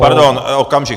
Pardon, okamžik.